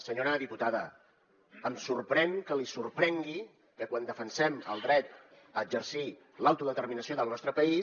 senyora diputada em sorprèn que li sorprengui que quan defensem el dret a exercir l’autodeterminació del nostre país